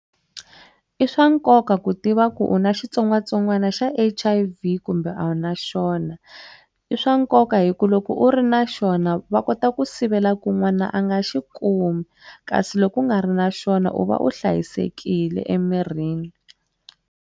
I swa nkoka ku tiva ku u na xitsongwatsongwana xa H_I_V kumbe a wu na xona i swa nkoka hi ku loko u ri na xona va kota ku sivela ku n'wana a nga xi kumi kasi loko ku nga ri na xona u va u hlayisekile emirini.